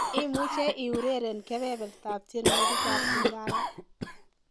imuje eureren kebebertab tienywogik ab lingala